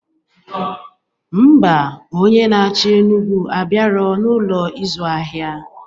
Ḿbà, Onye naachi Enugwu abiaro na n'Ụlọ ịzụ ahịa